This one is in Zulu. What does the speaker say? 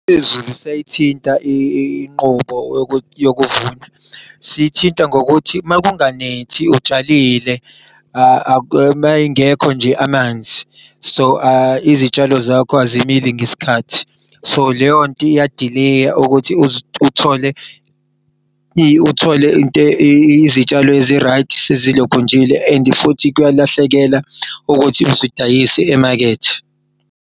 Izulu siyayithinta inqubo yokuvuna. Sithinta ngokuthi makunganethi utshalile meyingekho nje amanzi so izitshalo zakho azimili ngesikhathi so leyonto iyadileya ukuthi uthole uthole izitshalo ezi-right sezi lokhunjile. And futhi kuyalahlekela ukuthi uzidayise emakethe.